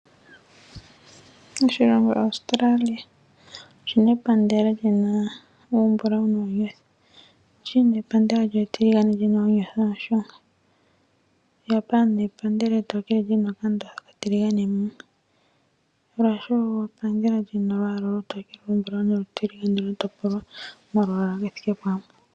Oshilongo Australia oshi na epandela li na olwaala olumbulawu nuunyothi. China oku na epandela etiligane li na oonyothi oonshunga, Japan epandela etookele li na okandothi okatiligane, Russia epandela li na olwaala olutokele, oluzizi nolutiligane lwa topolwa momalwaala ge thike pamwe.